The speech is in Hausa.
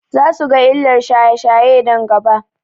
Za su ga illar shaye-shaye nan gaba.